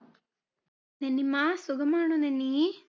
നന്നിമ്മ, സുഖമാണോ നന്നീ?